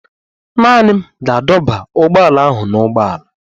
Naanị m ga-adọba ụgbọala ahụ n'ụgbọala.